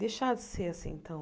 Deixar de ser assim tão...